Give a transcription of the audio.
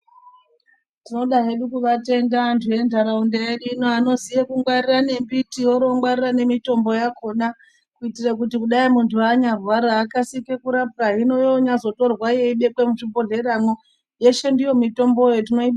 Tinoda hedu kuvatenda antu enharaunda yedu ino anoziya kungwarire nembiti oro vongwarira nemitombo yakona. Kuitire kuti kudai muntu anyarwara akasike kurapwa hino anyazotorwa yobekwe muzvibhodhleramwo yeshe ndiyo mitomboyo tinoibonga.